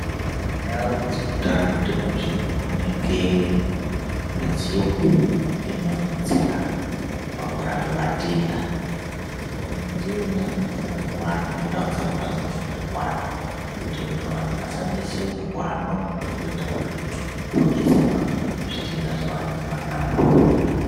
Mundau dzeutano ndimozve munooneke midziyo inodetsera pakurape vatenda. Midziyo iyona iyo inofane kuwanda, nendau dzakhona dzinofane kuwanda kuitire kuti vantu vasanetseka ngekuhambe mihambo yakareba kuenda kuretu kodetserwa zvitenda zvevanenge vanazvo.